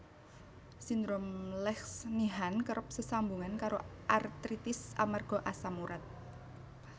Sindrom Lesch Nyhan kerep sesambungan karo artritis amarga asam urat